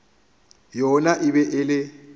yona e be e le